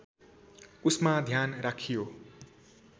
उसमा ध्यान राखियो